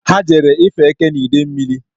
Ha jere ife eke n'Idemmili